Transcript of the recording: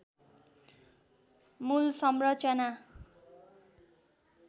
मूल संरचना